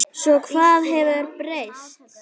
Svo hvað hefur breyst?